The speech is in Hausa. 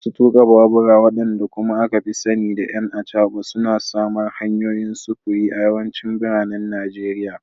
Masu tuka babura, wadanda kuma aka fi sani da “'ƴan acaba,” suna samar hanyoyin sufuri a yawancin biranen Najeriya.